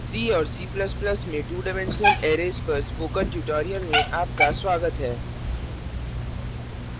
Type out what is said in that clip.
c और c ++ में two dimensional arrays पर spoken tutorial में आपका स्वागत है